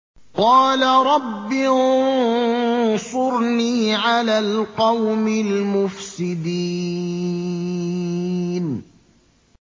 قَالَ رَبِّ انصُرْنِي عَلَى الْقَوْمِ الْمُفْسِدِينَ